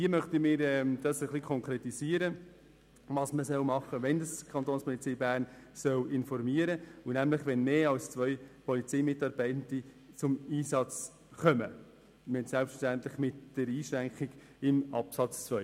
Wir möchten ein Stück weit konkretisieren, was man tun soll und wann die Kapo informieren soll: nämlich wenn mehr als zwei Polizeimitarbeitende zum Einsatz kommen, selbstverständlich mit der Einschränkung in Absatz 2.